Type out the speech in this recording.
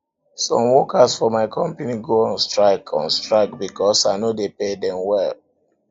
some workers for my company go on strike on strike because i no dey pay dem well